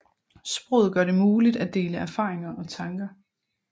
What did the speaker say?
Sproget gør det muligt at dele erfaringer og tanker